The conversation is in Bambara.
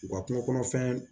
U ka kungo kɔnɔfɛn